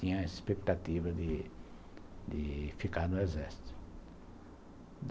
Tinha a expectativa de de ficar no Exército.